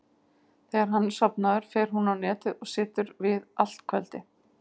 Þegar hann er sofnaður fer hún á Netið og situr við allt kvöldið.